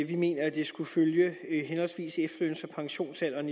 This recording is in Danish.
vi mener at det skulle følge henholdsvis efterløns og pensionsalderen